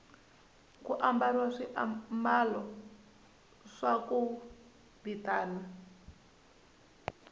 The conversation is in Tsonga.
ku ambariwa swiamalo swa ku vitana